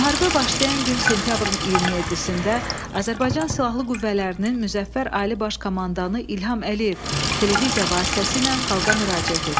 Müharibə başlayan gün sentyabrın 27-də Azərbaycan Silahlı Qüvvələrinin Müzəffər Ali Baş Komandanı İlham Əliyev televiziya vasitəsilə xalqa müraciət etdi.